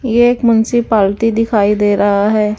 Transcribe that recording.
ये एक municipality दिखाई दे रहा है।